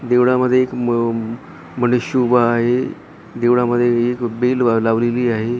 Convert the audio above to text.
देवळामध्ये एक म मनुष्य उभा आहे देवळामध्ये एक बेल लावलेली आहे.